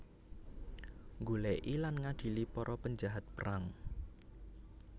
Nggolèki lan ngadili para penjahat perang